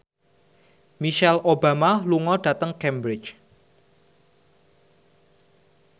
Michelle Obama lunga dhateng Cambridge